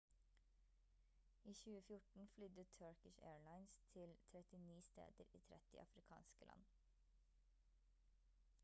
i 2014 flydde turkish airlines til 39 steder i 30 afrikanske land